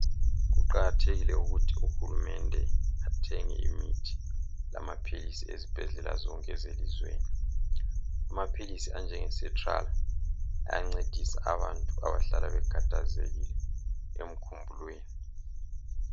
kuqakathekile ukuthi uhulumende athenge imithi lamaphilisi ezibhedlela zonke ezeliweni amaphilisi anjenge setral ayancedisa abantu abahlala bekhathazekile emkhumbulweni